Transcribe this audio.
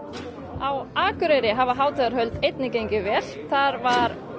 á Akureyri hafa hátíðarhöld einnig gengið vel það var